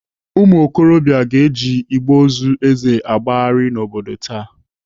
Ụmụokorobịa ga-eji igbe ozu Eze agbagharị n'obodo taa.